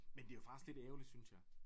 Men det jo faktisk lidt ærgerligt synes jeg